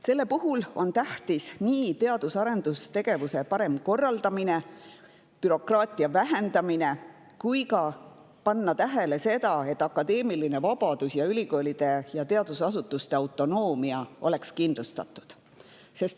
Selle puhul on tähtis nii teadus‑ ja arendustegevuse parem korraldamine kui ka bürokraatia vähendamine, samuti tuleb panna tähele seda, et akadeemiline vabadus ning ülikoolide ja teadusasutuste autonoomia oleks kindlustatud.